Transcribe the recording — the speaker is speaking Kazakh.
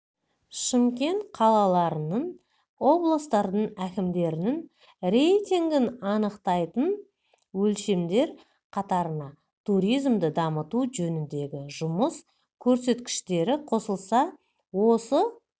шымкент қалаларының облыстардың әкімдерінің рейтингін анықтайтын өлшемдер қатарына туризмді дамыту жөніндегі жұмыс көрсеткіштері қосылса осы